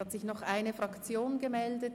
Es hat sich noch eine Fraktion gemeldet.